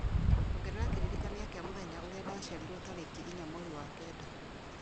Ongerera kĩririkania kĩa mũthenya ũrĩa ndaciarirwo tarĩki inya mweri wa kenda